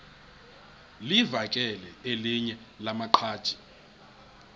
livakele elinye lamaqhaji